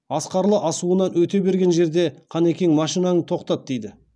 асқарлы асуынан өте берген жерде қанекең машинаңды тоқтат дейді